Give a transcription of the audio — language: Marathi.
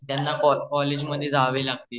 त्यांना कॉलेज मध्ये जावे लागते